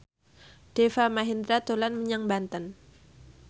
Deva Mahendra dolan menyang Banten